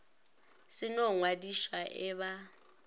se no ngwadišwa e ba